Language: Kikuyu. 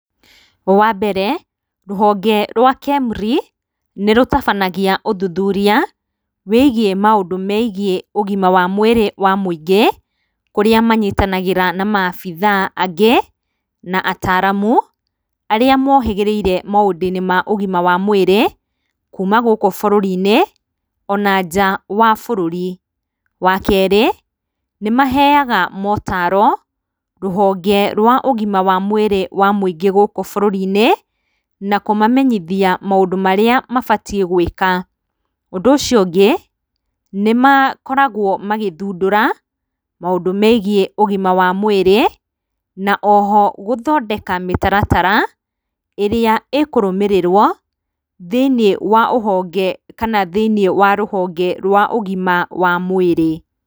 Wambere rũhonge rwa KEMRI nĩrũtabanagia ũthuthuria wĩigiĩ maũndũ megiĩ ũgima wa mwĩrĩ wa mũingĩ kũrĩa manyitanagĩra na maabitha angĩ na ataaramu arĩa mohĩgĩrĩire maũndũinĩ ma ũgima wa mwĩrĩ kuuma gũkũ bũrũrinĩ ona nja wa bũrũri, wakerĩ nĩmaheaga motaro rũhonge rwa ũgima wa mwĩrĩ wa mũingĩ gũkũ bũrũrinĩ na kũmamenyithia maũndũ marĩa mabatie gwĩka, ũndũ ũcio ũngĩ nĩmakoragwo magĩthundũra maũndũ megiĩ ũgima wa mwĩrĩ na oho gũthondeka mĩtaratara ĩrĩa ĩkũrũmĩrĩrwo thĩinĩ wa rũhonge kana thĩinĩ wa rũhonge rwa ũgima wa mwĩrĩ.